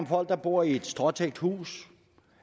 folk der bor i et stråtækt hus